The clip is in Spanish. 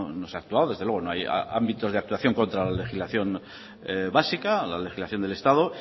no se ha actuado desde luego no hay ámbitos de actuación contra la legislación básica la legislación del estado